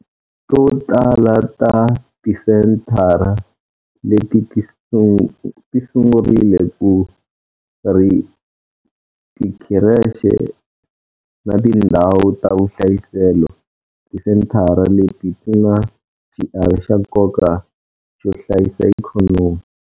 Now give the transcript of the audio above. To tala ta tisenthara leti ti sungurile ku ri tikhirexe na tindhawu ta vuhlayiselo. Tisenthara leti ti na xiave xa nkoka xo hlayisa ikhonomi.